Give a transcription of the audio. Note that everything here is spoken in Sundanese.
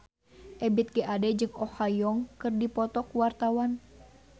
Ebith G. Ade jeung Oh Ha Young keur dipoto ku wartawan